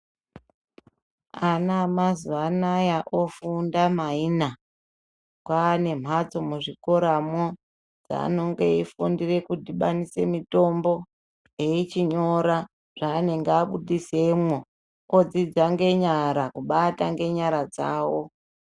Ana mazwanaya ofunda mayinha kwane mhatso muzvikoramwo dzanenge ofundire kutibanise mitombo echinyora zvaanenge abuditsemwo odzidza ngenyara kubata ngenyara dzawo